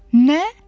Nə?